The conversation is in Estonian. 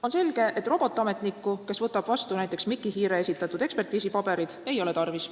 On selge, et robotametnikku, kes võtab vastu näiteks Miki Hiire esitatud ekspertiisipaberid, ei ole tarvis.